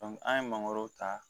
an ye mangoro ta